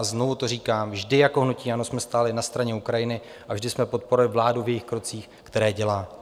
A znovu to říkám, vždy jako hnutí ANO jsme stáli na straně Ukrajiny a vždy jsme podporovali vládu v jejích krocích, které dělá.